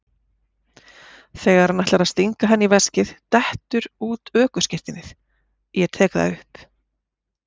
Þegar hann ætlar að stinga henni í veskið dettur út ökuskírteinið, ég tek það upp.